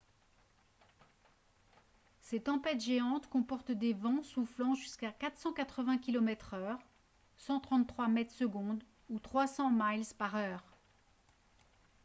ces tempêtes géantes comporte des vents soufflant jusqu'à 480 km/h 133 m/s ou 300 mph